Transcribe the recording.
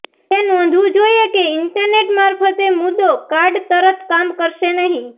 તે નોંધવું જોઇએ કે ઇન્ટરનેટ મારફતે મુદ્દો કાર્ડ તરત કામ કરશે નહિં